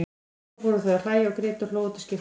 Svo fóru þau að hlæja og grétu og hlógu til skiptis.